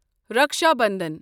Raksha Bandhan